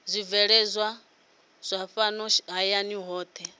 zwibveledzwa zwa fhano hayani zwohe